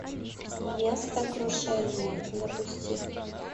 место крушения запусти